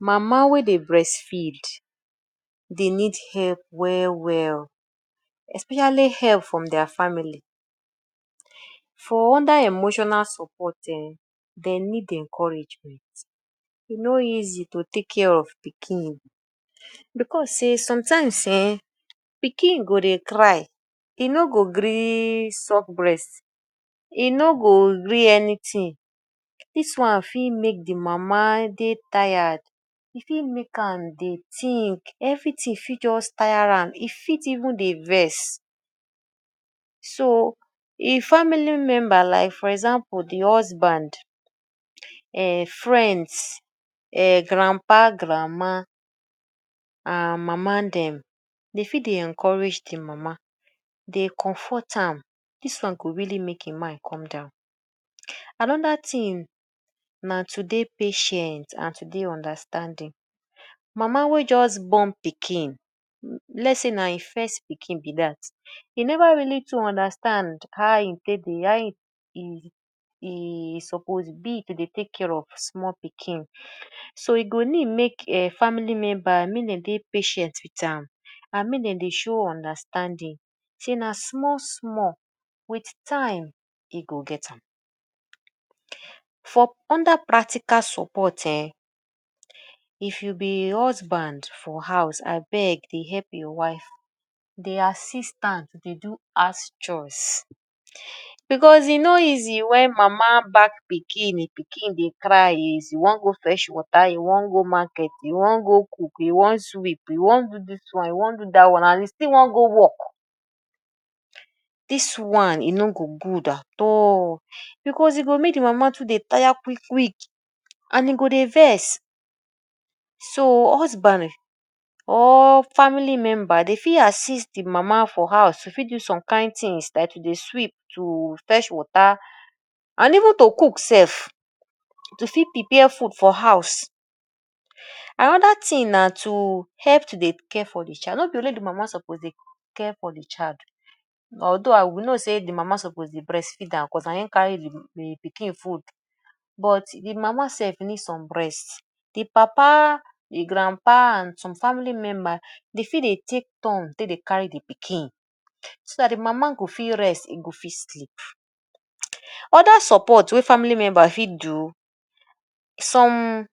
Mama wey dey breastfeed dey need help well well especially help from their family. For under emotional support um dey need encouragement, e no easy to take care of pikin because sey sometimes um pikin go dey cry e no go gree suck breast, e no go gree anything; dis one fit make de mama de tired, e fit make am dey think, everything fits just tire am, e fit even dey vex. So im family member like for example de husband, um friends, um grandpa, grandma and mama dem dey fit dey encourage de mama, dey comfort am, dis one go really make im mind come down. Another thing na to dey patient and to dey understanding. Mama wey just born pikin let's say na im first pikin be dat, e never really too dey understand how e take dey, how e suppose be to dey take care of small pikin. So e go need make um family member make dem dey patient wit am and make dem dey show understanding sey na small small wit time e go get am. For under practical support um, if you be husband for house abeg dey help your wife. Dey assist am to dey do house chores because e no easy wen mama back pikin de pikin dey cry, e wan go fetch water, e wan go market, e wan go cook, e wan sweep, e wan do dis one, e wan do dat one and e still wan go work. Dis one e no go good at all because e go make de mama too dey tire quick quick and e go dey vex. So husband or family member dey fit assist de mama for house dey fit do some kind things like to dey sweep, to fetch water and even to cook sef to fit prepare food for house. Another thing na to help to dey care for de child; no be only de mama suppose dey care for de child although we know sey de mama suppose dey breastfeed am because na im carry de de pikin food but de mama sef need some rest. De papa, de grandpa and some family members dey fit dey take turns take dey carry de pikin so dat de mama go fit rest e go fit sleep. Other support wey family member fit do, some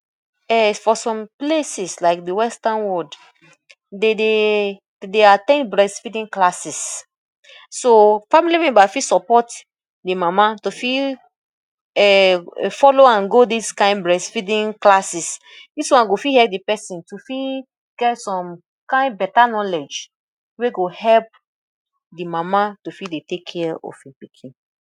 [um]for some places like de western world dem dey dey at ten d breastfeeding classes. So family member fit support de mama to fit um follow am go dis kain breastfeeding classes. Dis one go fit help de person to fit get some kain better knowledge wey go help de mama to fit dey take care of im pikin.